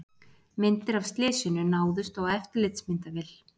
Myndir af slysinu náðust á eftirlitsmyndavél